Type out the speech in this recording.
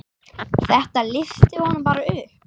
Þetta lyfti honum bara upp.